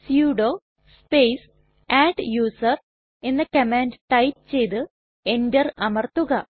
sudo space adduser എന്ന command type ചെയ്തു enter അമർത്തുക